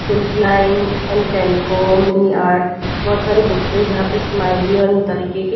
बहुत सारी बुक हैं जहाँ स्माइली ऑन तरीके के।